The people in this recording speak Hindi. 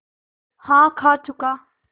हाँ खा चुका